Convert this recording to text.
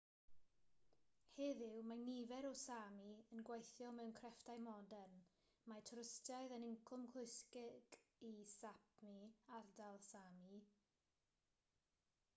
heddiw mae nifer o sámi yn gweithio mewn crefftau modern mae twristiaeth yn incwm pwysig yn sápmi ardal sámi